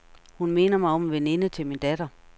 Hun minder mig om en veninde til min datter.